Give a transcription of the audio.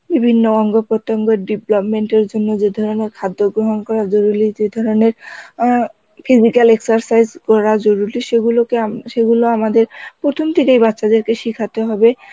বিভিন্ন অঙ্গ-প্রত্যঙ্গ development এর জন্য যে ধরনের খাদ্য গ্রহণ করা জরুরী যে ধরনের অ্যাঁ physical exercise কড়া জরুরি সেগুলোকে আম~ সেগুলো আমাদের প্রথম থেকেই বাচ্চাদেরকে শেখাতে হবে